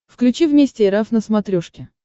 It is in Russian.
включи вместе эр эф на смотрешке